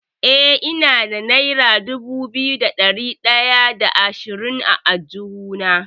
Eh, ina da nera dubu biyu da ɗari ɗaya da ashirin a aljihuna.